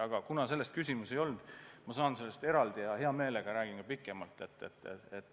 Aga kuna selle kohta küsimus ei olnud, siis ma võin sellest muul ajal hea meelega pikemalt rääkida.